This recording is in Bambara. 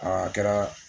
Aa a kɛra